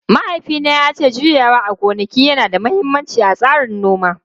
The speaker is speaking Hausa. Mahaifina ya ce juyawa a gonaki yana da mahimmanci a tsarin noma.